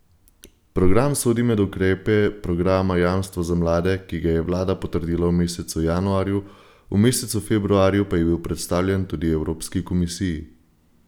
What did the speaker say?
Program sodi med ukrepe programa Jamstvo za mlade, ki ga je vlada potrdila v mesecu januarju, v mesecu februarju pa je bil predstavljen tudi Evropski Komisiji.